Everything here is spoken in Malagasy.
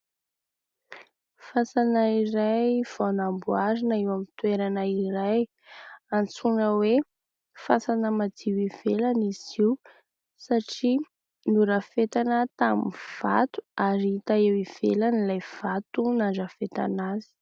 Fasana iray vao namboarina eo amin'ny toerana iray antsoina hoe : fasana madio ivelany izy io, satria norafetana tamin'ny vato, ary hita eo ivelany ilay vato nandrafetana azy.